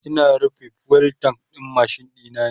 Ina rufe fuel tank ɗin machine ɗina